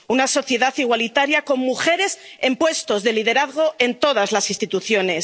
una sociedad igualitaria con mujeres en puestos de liderazgo en todas las instituciones